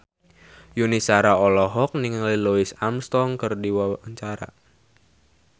Yuni Shara olohok ningali Louis Armstrong keur diwawancara